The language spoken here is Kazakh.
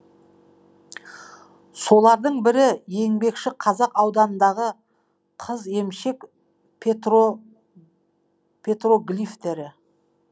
солардың бірі еңбекшіқазақ ауданындағы қыземшек петроглифтері